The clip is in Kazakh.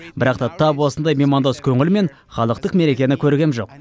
бірақ та тап осындай меймандос көңіл мен халықтық мерекені көргем жоқ